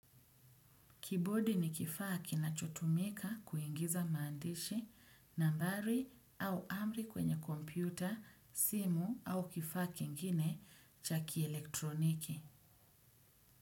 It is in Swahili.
Kibodi ni kifaa kinacho tumika kuingiza maandishi, nambari au amri kwenye kompyuta, simu au kifaa kingine cha kielektroniki.